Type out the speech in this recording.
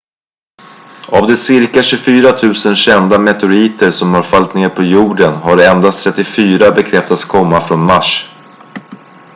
av de cirka 24 000 kända meteoriter som har fallit ned på jorden har endast 34 bekräftats komma från mars